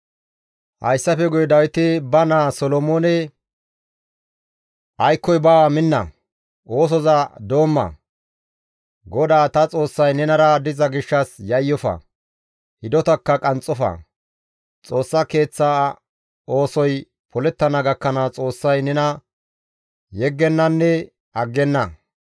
Hayssafe guye Dawiti ba naa Solomoone, «Aykkoy baawa minna! Oosoza doomma! GODAA ta Xoossay nenara diza gishshas yayyofa; hidotakka qanxxofa! Xoossa Keeththa oosoy polettana gakkanaas Xoossay nena yeggennanne aggenna.